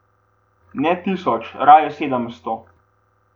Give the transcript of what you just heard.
Ne tisoč, raje sedemsto.